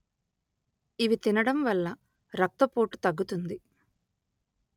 ఇవి తినడం వల్ల రక్తపోటు తగ్గుతుంది